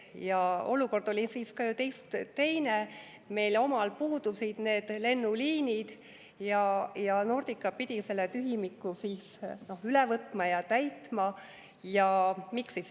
Ja olukord oli siis ka ju teine, meil omal puudusid need lennuliinid ja Nordica pidi üle võtma ja selle tühimiku täitma.